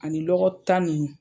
Ani lɔgɔ tan nin.